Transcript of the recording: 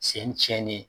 Sen tiɲɛnen